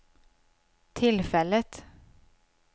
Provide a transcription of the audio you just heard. tillfället